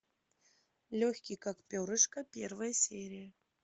легкий как перышко первая серия